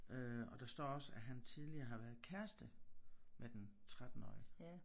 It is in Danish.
Øh og der står også at han tidligere har været kæreste med den 13-årige